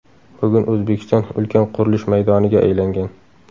Bugun O‘zbekiston ulkan qurilish maydoniga aylangan.